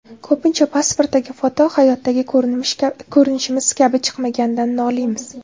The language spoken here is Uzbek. Ko‘pincha pasportdagi foto hayotdagi ko‘rinishimiz kabi chiqmaganidan noliymiz.